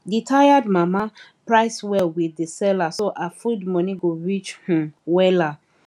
the tired mama price well with the seller so her food money go reach um wella um